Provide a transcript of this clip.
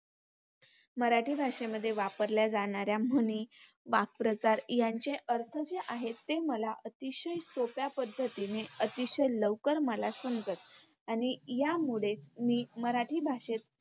मराठी भाषेमध्ये वापरल्या जाणाऱ्या म्हणी, वाक्प्रचार यांचे अर्थ जे आहेत ते मला अतिशय सोप्या पद्धतीने, अतिशय लवकर मला समजत आणि यामुळे मी मराठी भाषेत